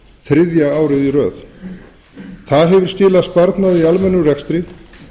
þriðja árið í röð það hefur skilað sparnaði í almennum rekstri